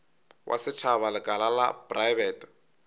wa setšhaba lekala la praebete